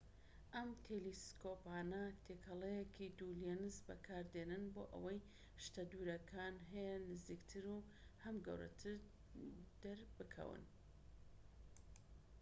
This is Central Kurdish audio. ئەم تێلێسکۆپانە تێکەڵەیەکی دوو لێنز بەکاردێنن بۆ ئەوەی شتە دوورەکان هەم نزیکتر و هەم گەورەتر دەربکەون‎